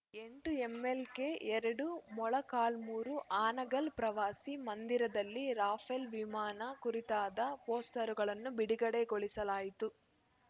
ಎಂಟು ಎಂಎಲ್‌ಕೆ ಎರಡು ಮೊಳಕಾಲ್ಮುರು ಹಾನಗಲ್‌ ಪ್ರವಾಸಿ ಮಂದಿರದಲ್ಲಿ ರಾಫೆಲ್‌ ವಿಮಾನ ಕುರಿತಾದ ಪೋಸ್ಟರುಗಳನ್ನು ಬಿಡುಗಡೆ ಗೊಳಿಸಲಾಯಿತು